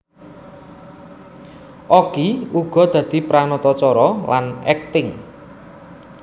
Okky uga dadi pranatacara lan akting